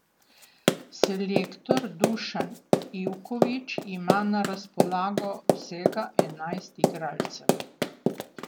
Selektor Dušan Ivković ima na razpolago vsega enajst igralcev.